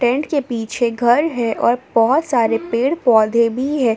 Tent के पीछे घर है और बहुत सारे पेड़ पौधे भी है ।